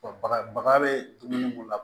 baga baga be dumuni mun na